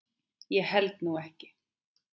Ég held nú ekki.